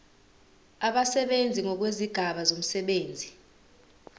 abasebenzi ngokwezigaba zomsebenzi